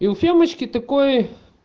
и у семечки такой